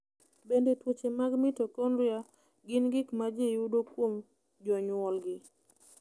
Bende tuoche mag mitokondria gin gik ma ji yudo kuom jonyuolgi?